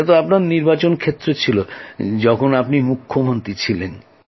সেটা তো আপনার নির্বাচনক্ষেত্র ছিল যখন আপনি মুখ্যমন্ত্রী ছিলেন